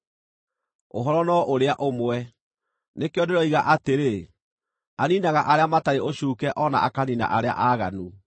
Ũhoro no ũrĩa ũmwe; nĩkĩo ndĩroiga atĩrĩ, ‘Aniinaga arĩa matarĩ ũcuuke o na akaniina arĩa aaganu.’